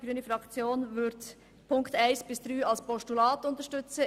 Die grüne Fraktion wird die Ziffern 1 bis 3 als Postulat unterstützen.